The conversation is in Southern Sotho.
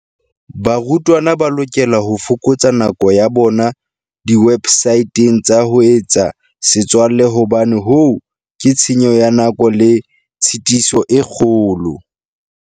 Barutwana ba lokela ho fokotsa nako ya bona diwebsateng tsa ho etsa setswalle hobane hoo ke tshenyo ya nako le tshitiso e kgolo.